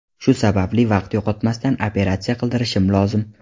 Shu sababli vaqt yo‘qotmasdan operatsiya qildirishim lozim.